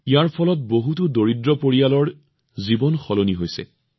ইয়াৰ বাবে বহুতো দৰিদ্ৰ পৰিয়ালৰ জীৱন পৰৱৰ্তিত হৈছে